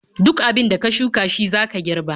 Duk abin da ka shuka shi zaka girba.